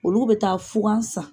Olu bɛ taa fugan san